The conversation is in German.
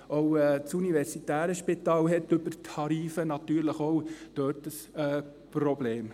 Auch das universitäre Spital hat dort über die Tarife natürlich ein Problem.